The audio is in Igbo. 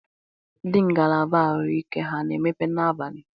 Ndị ngalaba arụike ha a na emepe na abalị?